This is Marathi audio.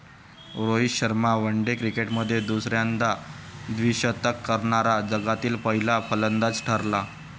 रोहित शर्मा वनडे क्रिकेटमध्ये दुसऱ्यांदा द्विशतक करणारा जगातील पहिला फलंदाज ठरला.